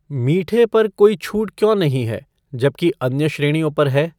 मीठे पर कोई छूट क्यों नहीं है जबकि अन्य श्रेणियों पर है